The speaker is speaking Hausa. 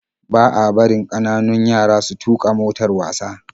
Ba a barin kananun yara su tuka motar wasa